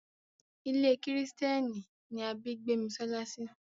Ilé kìrìsìtẹ́nì ni a bí Gbémisọ́lá sí.